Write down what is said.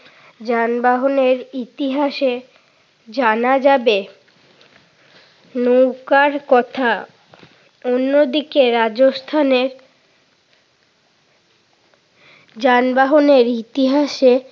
যানবাহনের ইতিহাসে জানা যাবে নৌকার কথা। অন্যদিকে রাজস্থানে যানবাহনের ইতিহাসে